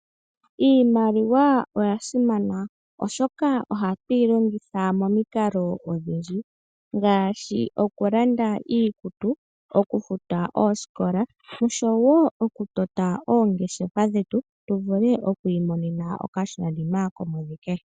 Iimaliwa oya simana oshoka ohatu yi longitha momikalo odhindji ngaashi oku landa iikutu, oku futa oosikola noshowo okutota oongeshefa dhetu tu vule oku mona okashona nima komowike.